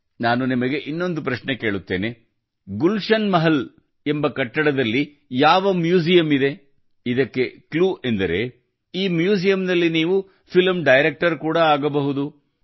ನಾನು ನಿಮಗೆ ಇನ್ನೊಂದು ಪ್ರಶ್ನೆ ಕೇಳುತ್ತೇನೆ ಗುಲ್ಶನ್ ಮಹಲ್ ಎಂಬ ಕಟ್ಟಡದಲ್ಲಿ ಯಾವ ಮ್ಯೂಸಿಯಂ ಇದೆ ಇದಕ್ಕೆ ಕ್ಲೂ ಅಂದರೆ ಈ ಮ್ಯೂಸಿಯಂನಲ್ಲಿ ನೀವು ಫಿಲಂ ಡೈರೆಕ್ಟರ್ ಕೂಡ ಆಗಬಹುದು